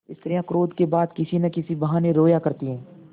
स्त्रियॉँ क्रोध के बाद किसी न किसी बहाने रोया करती हैं